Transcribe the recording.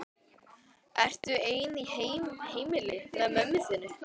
Ertu ein í heimili með mömmu þinni?